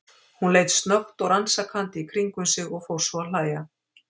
Hún leit snöggt og rannsakandi í kringum sig og fór svo að hlæja.